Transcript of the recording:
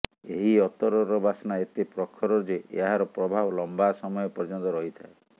ଏହି ଅତରର ବାସ୍ନା ଏତେ ପ୍ରଖର ଯେ ଏହାର ପ୍ରଭାବ ଲମ୍ବା ସମୟ ପର୍ଯ୍ୟନ୍ତ ରହିଥାଏ